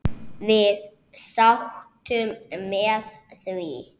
Við sátum með því.